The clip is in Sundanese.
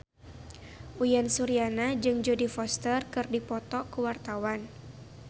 Uyan Suryana jeung Jodie Foster keur dipoto ku wartawan